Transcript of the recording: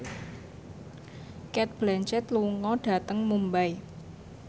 Cate Blanchett lunga dhateng Mumbai